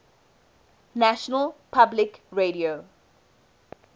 national public radio